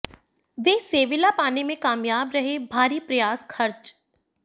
वे Sevilla पाने में कामयाब रहे भारी प्रयास खर्च